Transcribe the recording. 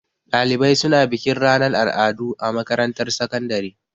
Ɗalibai suna bikin ranar al'adu a makarantar sakandare.